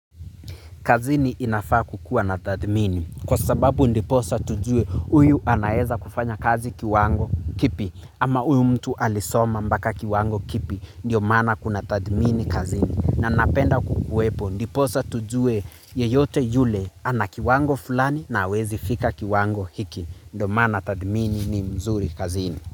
Kazini inafaa kukua natathmini kwa sababu ndiposa tujue huyu anaweza kufanya kazi kiwango kipi ama huyu mtu alisoma mpaka kiwango kipi ndio maana kuna tathmini kazini. Na napenda kukuwepo ndiposa tujue yeyote yule ana kiwango fulani na hawezi fika kiwango hiki ndio maana tathmini ni mzuri kazini.